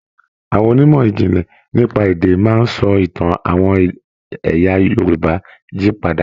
Àwọn onímọ̀ ìjìnlè nípa èdè máa sọ Ìtàn àwọn ẹyà Yorùbá jí padà.